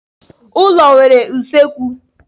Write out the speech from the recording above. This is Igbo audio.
Ụlọ nwere usekwu.